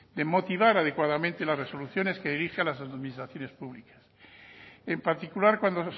de motivar adecuadamente las resoluciones que dirige a las administraciones públicas en particular cuando